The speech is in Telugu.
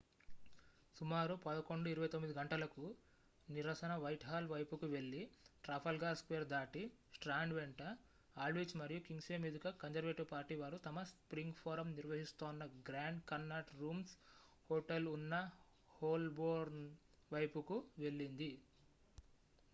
సుమారు 11:29 గంటలకు నిరసన వైట్హాల్ వైపుకు వెళ్ళి ట్రాఫాల్గర్ స్క్వేర్ దాటి స్ట్రాండ్ వెంట ఆల్డ్విచ్ మరియు కింగ్స్వే మీదుగా కన్జర్వేటివ్ పార్టీ వారు తమ స్ప్రింగ్ ఫోరమ్ నిర్వహిస్తోన్న గ్రాండ్ కన్నాట్ రూమ్స్ హోటల్ ఉన్న హోల్బోర్న్ వైపుకు వెళ్ళింది